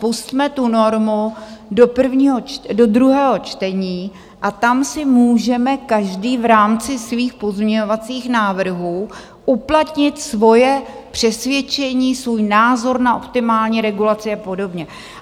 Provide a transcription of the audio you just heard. Pusťme tu normu do druhého čtení a tam si můžeme každý v rámci svých pozměňovacích návrhů uplatnit svoje přesvědčení, svůj názor na optimální regulaci a podobně.